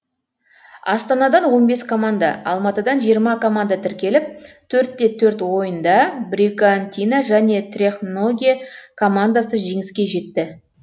астанадан он бес команда алматыдан жиырма команда тіркеліп төрт те төрт ойында бригантина және трехногие командасы жеңіске жетті